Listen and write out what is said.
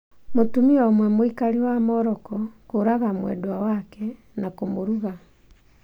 Mutumia ũmwe mũikari wa Morocco kũraga mwendwa wak na kũmũruga